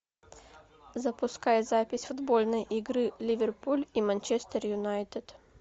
запускай запись футбольной игры ливерпуль и манчестер юнайтед